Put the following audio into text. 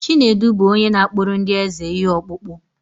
Chinedu bụ onye na-akpụrụ ndị eze ihe ọkpụkpụ.